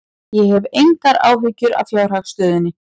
Ég hef engar áhyggjur af fjárhagsstöðunni.